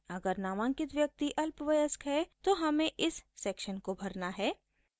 अगर नामांकित व्यक्ति अल्पवयस्क है तो हमें इस सेक्शन को भरना है